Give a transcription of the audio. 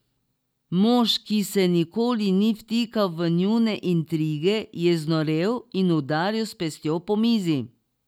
Mož, ki se nikoli ni vtikal v njune intrige, je znorel in udaril s pestjo po mizi.